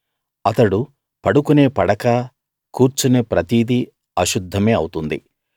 అతడు పడుకునే పడకా కూర్చునే ప్రతిదీ అశుద్ధమే అవుతుంది